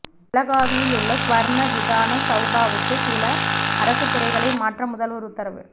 பெலகாவியிலுள்ள சுவா்ண விதான சௌதாவுக்கு சில அரசுத் துறைகளை மாற்ற முதல்வா் உத்தரவு